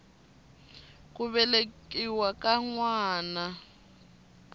ku velekiwa ka n wana